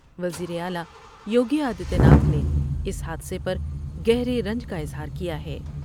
وزیراعلی یوگی آدتیہ ناتھ نے اس حادثے پر گہرے رنج کا اظہار کیا ہے ۔